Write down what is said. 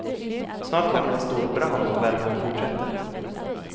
Snart kommer en stor brand om värmen fortsätter.